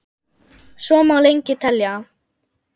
Svo má lengi telja.